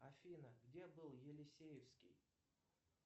афина где был елисеевский